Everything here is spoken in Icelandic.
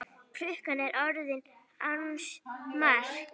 Klukkan er orðin ansi margt.